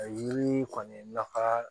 A yiri kɔni nafa